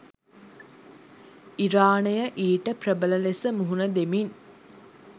ඉරානය ඊට ප්‍රබල ලෙස මුහුණ දෙමින්